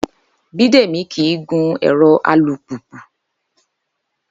Bídèmí kí í gun ẹ̀rọ alùpùpù